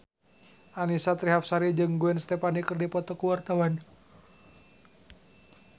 Annisa Trihapsari jeung Gwen Stefani keur dipoto ku wartawan